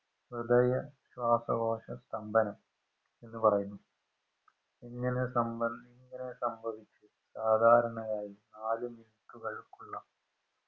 ഹൃദയ ശ്വാസകോശ സ്തംഭനം എന്ന് പറയുന്നു ഇങ്ങനെ സംഭ ഇങ്ങനെ സംഭവിച് സാദാരണയായി നാലു minute കൾക്കുള്ള